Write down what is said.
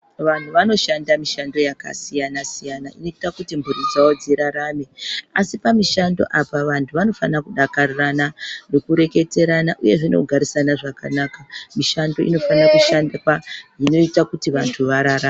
Vanhu vanoshanda mushando yakasiyana siyana inoita kuti mhuri dzawo dzirarame asi pamishanfo apa vanhu vanofana kudakarirana nekureketerana uyezve nekugarisana zvakanaka mishando inofana kushandwa xvinoita kuti vantu vararame.